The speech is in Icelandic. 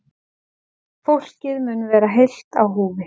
Fólkið mun vera heilt á húfi